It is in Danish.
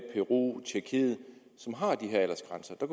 peru og tjekkiet som har de her aldersgrænser og